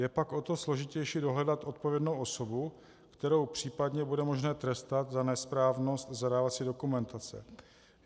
Je pak o to složitější dohledat odpovědnou osobu, kterou případně bude možné trestat za nesprávnost zadávací dokumentace.